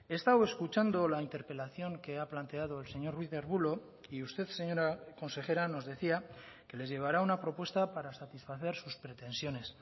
he estado escuchando la interpelación que ha planteado el señor ruiz de arbulo y usted señora consejera nos decía que les llevará una propuesta para satisfacer sus pretensiones